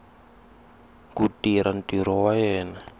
ku tirha ntirho wa yena